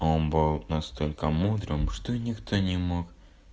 он был настолько мудром что никто не мог